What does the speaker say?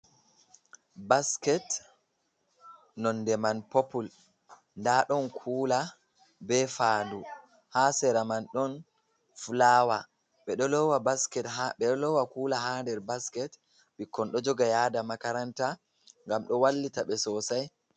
Basket nonde man popul da don kula be fandu ha sera man ɗon fulawa. Ɓe do lowa kula ha der basket, bikkon do joga yada makaranta gam do wallita be sosai.